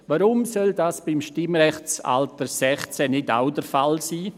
Warum soll das nicht auch beim Stimmrechtsalter 16 der Fall sein?